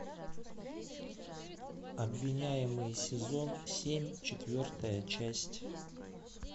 обвиняемый сезон семь четвертая часть